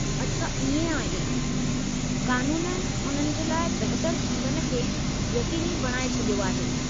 अच्छा इएं आहे! क़ानूननि उन्हनि जे लाइ बहितरु जीवन खे यक़ीनी बणाए छडि॒यो आहे!